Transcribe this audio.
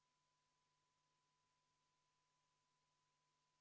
Kohal on 60 Riigikogu liiget.